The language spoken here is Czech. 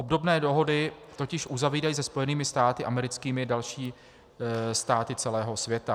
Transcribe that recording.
Obdobné dohody totiž uzavírají se Spojenými státy americkými další státy celého světa.